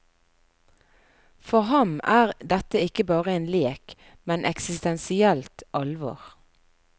For ham er dette ikke bare en lek, men eksistensielt alvor.